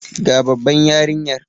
Ga Baban yarinyar.